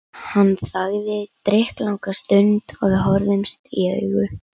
Hann þagði drykklanga stund og við horfðumst í augu.